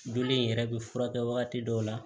Joli in yɛrɛ bɛ furakɛ wagati dɔw la